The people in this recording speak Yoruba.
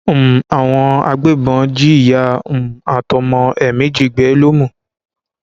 um àwọn agbébọn jí ìyá um àtọmọ ẹ méjì gbé lómù